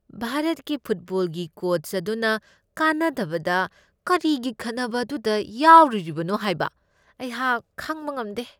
ꯚꯥꯔꯠꯀꯤ ꯐꯨꯠꯕꯣꯜꯒꯤ ꯀꯣꯆ ꯑꯗꯨꯅ ꯀꯥꯟꯅꯗꯕꯗ ꯀꯔꯤꯒꯤ ꯈꯠꯅꯕ ꯑꯗꯨꯗ ꯌꯥꯎꯔꯨꯔꯤꯕꯅꯣ ꯍꯥꯏꯕ ꯍꯩꯍꯥꯛ ꯈꯪꯕ ꯉꯝꯗꯦ ꯫